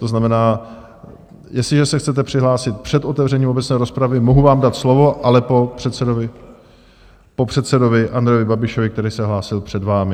To znamená, jestliže se chcete přihlásit před otevřením obecné rozpravy, mohu vám dát slovo, ale po předsedovi Andreji Babišovi, který se hlásil před vámi.